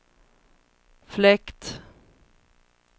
fläkt